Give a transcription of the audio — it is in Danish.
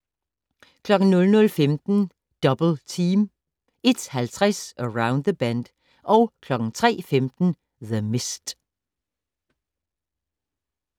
00:15: Double Team 01:50: Around the Bend 03:15: The Mist